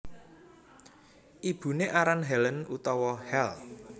Ibuné aran Helen utawa Hel